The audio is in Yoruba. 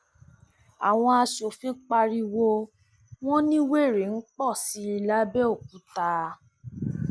àwọn aṣòfin pariwo wọn ní wẹrẹ ń pọ sí i lápèokúta